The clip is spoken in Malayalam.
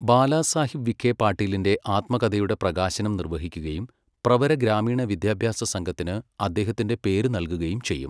ബാലാസാഹിബ് വിഘെ പാട്ടീലിന്റെ ആത്മകഥയുടെ പ്രകാശനം നിർവഹിക്കുകയും പ്രവര ഗ്രാമീണ വിദ്യാഭ്യാസ സംഘത്തിന് അദ്ദേഹത്തിന്റെ പേര് നൽകുകയും ചെയ്യും.